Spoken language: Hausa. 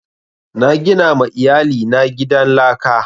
Na gina ma iyali na gidan laka